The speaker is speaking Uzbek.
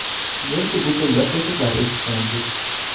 Yoki bu tilda qo‘shiqlar eshitgansiz.